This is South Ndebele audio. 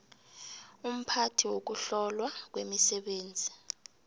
umphathi wokuhlolwa kwemisebenzi